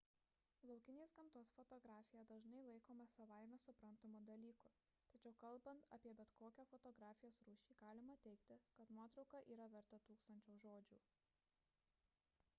laukinės gamtos fotografija dažnai laikoma savaime suprantamu dalyku tačiau kalbant apie bet kokią fotografijos rūšį galima teigti kad nuotrauka yra verta tūkstančio žodžių